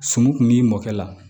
Suman kun b'i mɔkɛ la